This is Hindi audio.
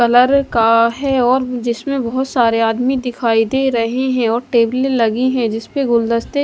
कलर का हैं और जिसमें बहोत सारे आदमी दिखाई दे रहें हैं और टेबले लगी हैं जिस पे गुलदस्ते--